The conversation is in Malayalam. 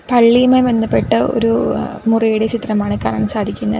പള്ളിയുമായി ബന്ധപ്പെട്ട ഒരു എഹ് മുറിയുടെ ചിത്രമാണ് കാണാൻ സാധിക്കുന്ന --